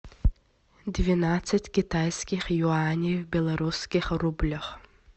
двенадцать китайских юаней в белорусских рублях